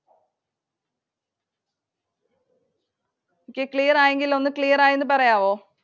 Okay. Clear ആയെങ്കിൽ ഒന്ന് clear ആയിന്ന് പറയാവോ?